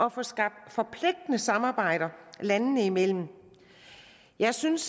at få skabt forpligtende samarbejder landene imellem jeg synes